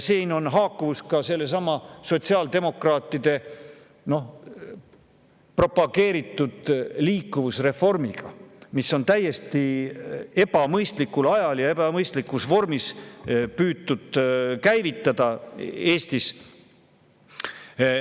See haakub sellesama sotsiaaldemokraatide propageeritud liikuvusreformiga, mida on täiesti ebamõistlikul ajal ja ebamõistlikus vormis Eestis käivitada püütud.